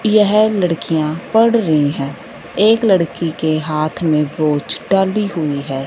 यह लड़कियां पढ़ रही है एक लड़की के हाथ में टली हुई है।